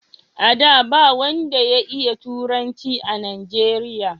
a da, ba wanda ya iya turanci a najeriya